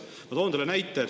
Ma toon teile näite.